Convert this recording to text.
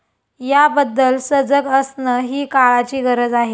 याबद्दल सजग असणं ही काळाची गरज आहे.